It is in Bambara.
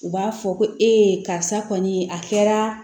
U b'a fɔ ko karisa kɔni a kɛra